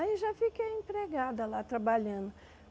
Aí eu já fiquei empregada lá, trabalhando.